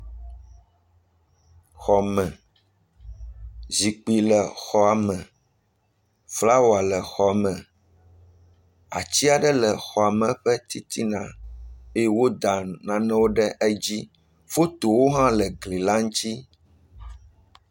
Xɔme, zikpui le xɔame flawa le xɔame ati aɖe le xɔame ƒe titina eye woda nanewo ɖe edzi fotowo hã le egli ŋuti.